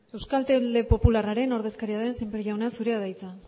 euskal talde popularraren ordezkaria den sémper jauna zurea da hitza